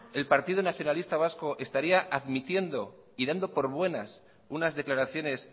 el partido nacionalista vasco estaría admitiendo y dando por buenas unas declaraciones